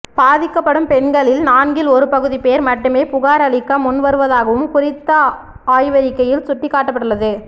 பாதிக்கப்படும் பெண்களில் நான்கில் ஒருபகுதி பேர் மட்டுமே புகார் அளிக்க முன்வருவதாகவும் குறித்த ஆய்வறிக்கையில் சுட்டிக்காட்டப்பட்டுள்ளது